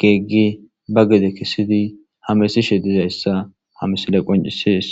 geeggi ba gede kissidi hamesishe dizayssa hamisile qoncisees